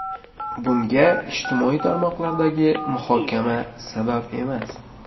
Bunga ijtimoiy tarmoqlardagi muhokama sabab emas.